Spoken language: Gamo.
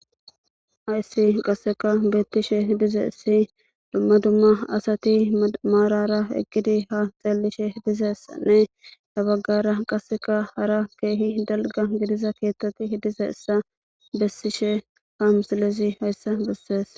Hayssi qasseka beettishe dize issi dumma dumma asati maarara eqqidi ha xallishe dizeessanne dabaggara qasseka hara keehi dalga gidiza keettati dize issa bessishe ha msilezi hayssa bessees